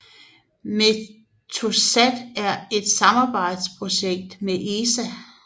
Meteosat er et samarbejdsprojekt med ESA